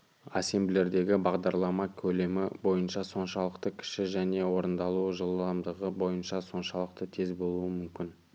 ассемблердегі бағдарлама көлемі бойынша соншалықты кіші және орындалу жылдамдығы бойынша соншалықты тез болуы мүмкін